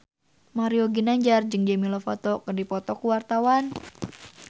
Mario Ginanjar jeung Demi Lovato keur dipoto ku wartawan